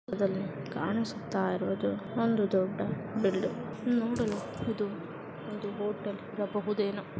ಈ ಚಿತ್ರದಲ್ಲಿ ಕಾಣಿಸುತ್ತಾ ಇರುವುದು ಒಂದು ದೊಡ್ಡ ಬಿಲ್ಡಿಂಗ್ ನೋಡಲು ತುಂಬಾ ದೊಡ್ಡದಾಗಿದೆ.